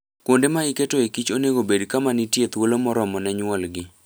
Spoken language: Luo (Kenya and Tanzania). Kuonde ma iketoe kich onego obed kama nitie thuolo moromo ne nyuogi.